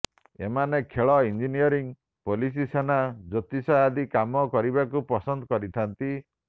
ଏମାନେ ଖେଳ engineering police ସେନା ଜ୍ୟୋତିଷ ଆଦି କାମ କରିବାକୁ ପସନ୍ଦ କରିଥାନ୍ତି